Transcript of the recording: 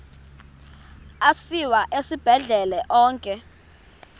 asiwa esibhedlele onke